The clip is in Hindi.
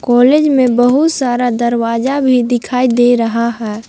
कॉलेज में बहुत सारा दरवाजा भी दिखाई दे रहा है।